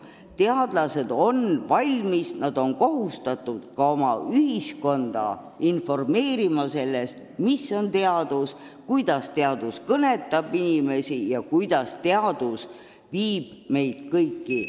Teadlased on kohustatud ühiskonda informeerima sellest, mis on teadus, kuidas teadus kõnetab inimesi ja kuidas teadus viib meid kõiki edasi.